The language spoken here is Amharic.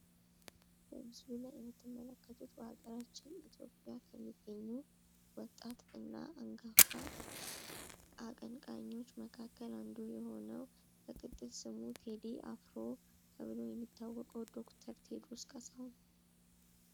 በምስሉ ላይ የምትመለከቱት በሀገራችን ኢትዮጵያ ከሚገኙ ወጣትና አንጋፋ አቀንቃኞች መካከል አንዱ የሆነው በቅጥል ስሙ ቴዲ አፍሮ ተብሎ የሚታወቀው ዶክተር ቴዎድሮስ ካሳሁን።